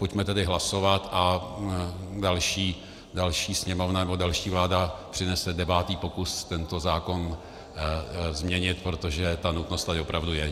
Pojďme tedy hlasovat a další Sněmovna nebo další vláda přinese devátý pokus tento zákon změnit, protože ta nutnost tady opravdu je.